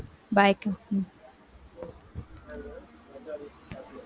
bye அக்கா